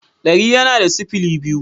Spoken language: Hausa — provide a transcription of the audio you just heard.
dari yana da sifili biyu.